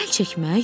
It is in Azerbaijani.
Əl çəkmək?